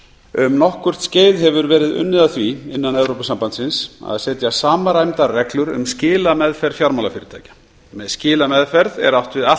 um nokkurt skeið hefur verið unnið að því innan evrópusambandsins að setja samræmdar reglur um skilameðferð fjármálafyrirtækja með skilameðferð er átt við allt